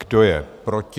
Kdo je proti?